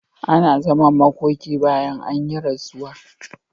Ana zaman makoki bayan an yi rasuwa.